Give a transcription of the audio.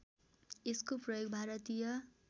यसको प्रयोग भारतीय